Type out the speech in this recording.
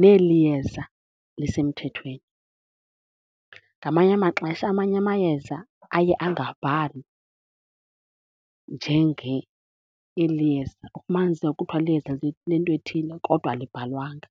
neli yeza lisemthethweni. Ngamanye amaxesha amanye amayeza aye angabhali eli yeza, ufumanise kuthiwa liyeza linento ethile kodwa alibhalwanga.